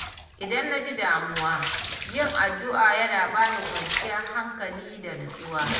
Idan na ji damuwa, yin addu’a yana bani kwanciyar hankali da nutsuwa.